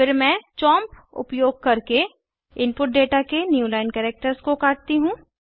फिर मैं चोंप उपयोग करके इनपुट डेटा के न्यू लाइन कैरेक्टर्स को काटती हूँ